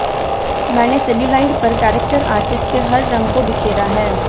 मैंने सेल्यूलाइड पर character artist के हर रंग को बिखेरा है